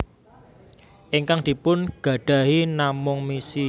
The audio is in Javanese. Ingkang dipun gadahi namung misi